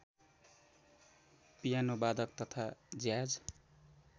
पियानोवादक तथा ज्याज